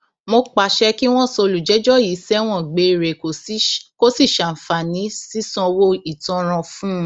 mo pàṣẹ kí wọn sọ olùjẹjọ yìí sẹwọn gbére kó sì ṣàǹfààní sísanwó ìtanràn fún un